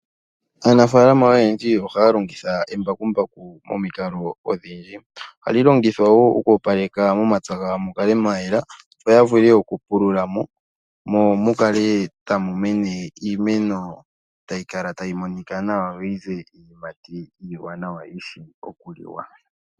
Aanafalama oyendji ohaya longitha embakumbaku momikalo odhindji. Ohayeli longitha oku opaleka momapya gawo, mukale mwayela, opo yavule okupulula mo, mo mukale tamu mene iimeno tayi kala tayi monika nawa, yo yize iiyimati tayi vulu okuliwa.